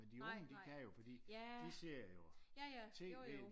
Men de unge de kan jo fordi de ser jo TV